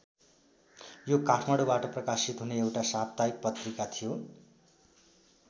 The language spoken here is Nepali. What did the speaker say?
यो काठमाडौबाट प्रकाशित हुने एउटा साप्ताहिक पत्रिका थियो।